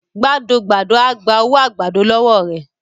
gbádọ gbádọ o gbà owo àgbàdo lówó rẹ